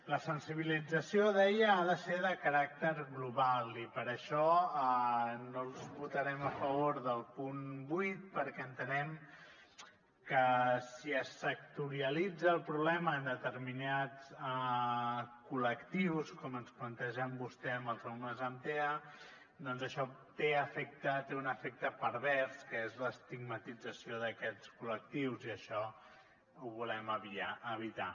la sensibilització deia ha de ser de caràcter global i per això no votarem a favor del punt vuit perquè entenem que si és sectoritza el problema en determinats col·lectius com ens planteja vostè amb els alumnes amb tea doncs això té un efecte pervers que és l’estigmatització d’aquests col·lectius i això ho volem evitar